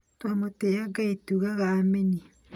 Twa mũtĩya Ngai tugaga Ameni.